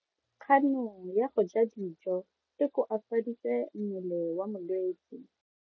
Kgano ya go ja dijo e koafaditse mmele wa molwetse.